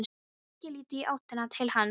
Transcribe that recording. Þorir ekki að líta í áttina til hans.